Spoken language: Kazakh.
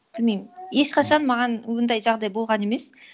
білмеймін ешқашан маған ондай жағдай болған емес